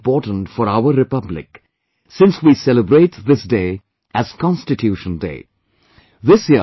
This is especially important for our republic since we celebrate this day as Constitution Day